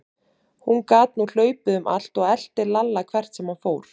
Hún gat nú hlaupið um allt og elti Lalla hvert sem hann fór.